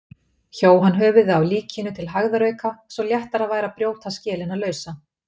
Hjó hann höfuðið af líkinu til hægðarauka svo léttara væri að brjóta skelina lausa.